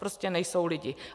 Prostě nejsou lidi.